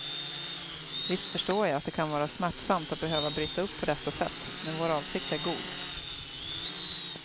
Visst förstår jag att det kan vara smärtsamt att behöva bryta upp på detta sätt, men vår avsikt är god.